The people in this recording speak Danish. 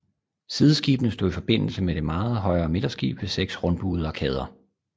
Sideskibene stod i forbindelse med det meget højere midterskib ved seks rundbuede arkader